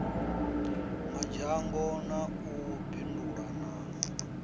madzhango na u bindula na